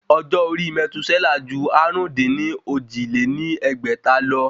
Ọjọ́ orí mètúsẹ́là ju àrún-dín-ní-ojì lé ní ẹgbẹ́ta lọ